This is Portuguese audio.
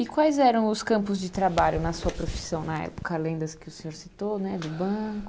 E quais eram os campos de trabalho na sua profissão na época, além das que o senhor citou né, do banco?